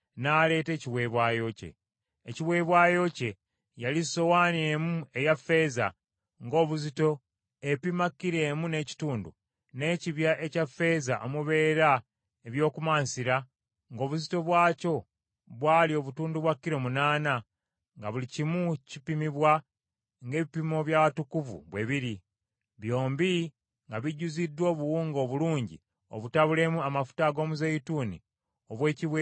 Ekiweebwayo kye yali sowaani emu eya ffeeza ng’obuzito epima kilo emu n’ekitundu, n’ekibya ekya ffeeza omubeera eby’okumansira ng’obuzito bwakyo bwali obutundu bwa kilo, munaana, nga buli kimu kipimibwa ng’ebipimo by’awatukuvu bwe biri; byombi nga bijjuziddwa obuwunga obulungi obutabulemu amafuta ag’omuzeeyituuni obw’ekiweebwayo eky’emmere y’empeke;